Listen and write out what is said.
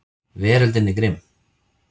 Veröldin er grimm.